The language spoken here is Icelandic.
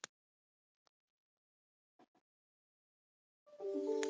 Ranglega haft eftir Björk